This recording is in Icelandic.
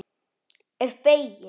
Er fegin.